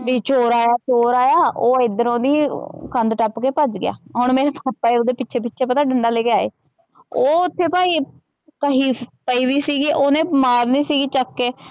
ਵੀ ਚੋਰ ਆਇਆ ਚੋਰ ਆਇਆ ਓਹ ਏਧਰੋ ਦੀ ਕੰਧ ਟਪਕੇ ਭਜ ਗਿਆ ਹੁਣ ਮੇਰੇ ਪਾਪਾ ਓਹਦੇ ਪਿਛੇ ਪਿਛੇ ਡੰਡਾ ਲੈ ਕੇ ਆਏ ਓਹ ਉਥੇ ਭਾਈ ਕਹੀ ਪਈ ਹੋਈ ਸੀਗੀ ਓਹਨੇ ਮਾਰਨੀ ਸੀਗੀ ਚੱਕ ਕੇ।